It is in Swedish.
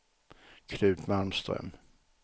Knut Malmström